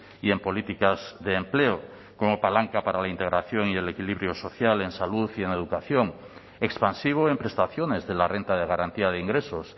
y en políticas de empleo como palanca para la integración y el equilibrio social en salud y en educación expansivo en prestaciones de la renta de garantía de ingresos